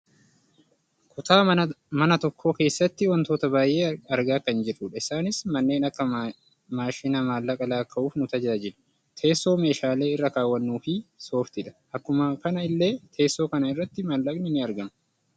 kutaa mana tokkoo keessatti wantoota baayyee argaa kan jirrudha isaanis kanneen akka maashina maallaqa lakkaa'uuf nu tajaajilu, teessoo meeshaalee irra kaawwannuufi sooftiidha. akkuma kana illee teessoo kana irratti maallaqni ni argama.